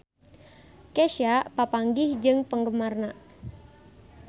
Kesha papanggih jeung penggemarna